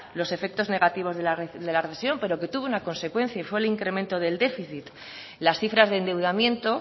los efectos negativos de la recesión pero que tuvo una consecuencia y fue el incremento del déficit las cifras de endeudamiento